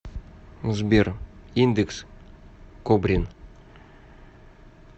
сбер индекс кобрин